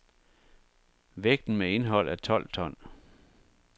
Vægten med indhold er tolv ton.